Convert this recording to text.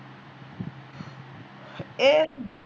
ਏਹ